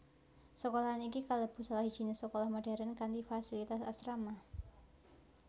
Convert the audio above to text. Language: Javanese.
Sekolahan iki kalebu salah sijiné sekolah modern kanthi fasilitas asrama